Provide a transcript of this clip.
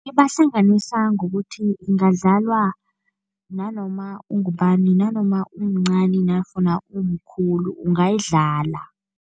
Ibahlanganisa ngokuthi ingadlalwa nanoma ungubani, nanoma umncani nafuna umkhulu ungayidlala.